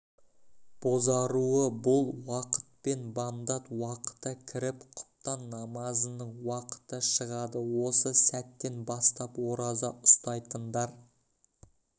бозаруы бұл уақытпен бамдат уақыты кіріп құптан намазының уақыты шығады осы сәттен бастап ораза ұстайтындар